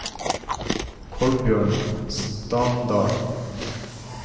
Kolbjørn Standal